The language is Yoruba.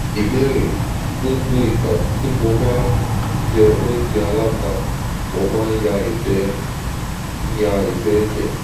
ìbéèrè: gbogbo ìgbà ti mo ba jẹ óúnjẹ aláta mo máa ń ya igbe ń ya igbe eje